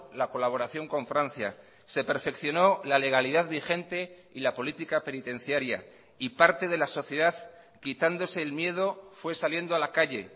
la colaboración con francia se perfeccionó la legalidad vigente y la política penitenciaria y parte de la sociedad quitándose el miedo fue saliendo a la calle